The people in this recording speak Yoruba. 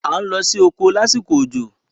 À ń lọ sí oko lásìkò òjò.